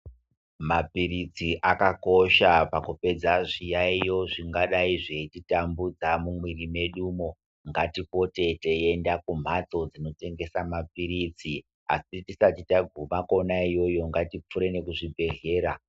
Maphirizi akakosha pakupedza zviyaiyo zvingadayi zveititambudza mumwiri mwedumo. Ngatipote teienda kumhatso dzinotengese maphirizi asi tisati tagume kwona iyoyo ngatipfuure nekuzvibhedhlera.